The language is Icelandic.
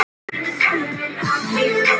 Bað hana að drífa sig.